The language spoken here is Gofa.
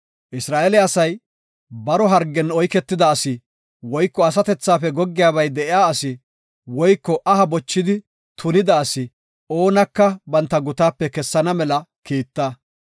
“Isra7eele asay baro hargen oyketida asi woyko asatethafe goggiyabay de7iya asi woyko aha bochidi tunida asi oonaka banta gutaape kessana mela kiita.